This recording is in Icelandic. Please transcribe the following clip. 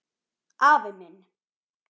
Afi minn.